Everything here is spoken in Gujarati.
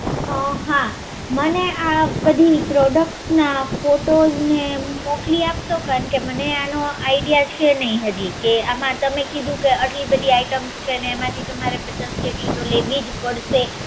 અ હા. મને આ બધી products ના ફોટોસ ને મોકલી આપશો? કારણ કે મને આનો idea છે નહીં હજી કે આમાં તમે કીધું કે અટલી બધી product છે એમાંથી તમારે પચાસ item લેવી જ પડશે.